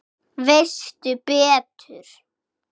Veistu betur?